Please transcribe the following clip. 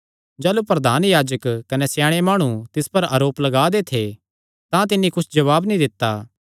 जाह़लू प्रधान याजक कने स्याणे माणु तिस पर आरोप लगा दे थे तां तिन्नी कुच्छ जवाब नीं दित्ता